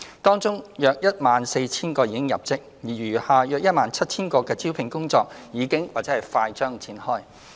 當中約 14,000 個已入職，而餘下約 17,000 個的招聘工作已經或快將展開。